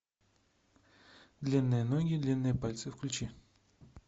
длинные ноги длинные пальцы включи